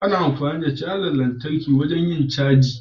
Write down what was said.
Ana amfani da cajar lantarki wajen yin cajin lantarki.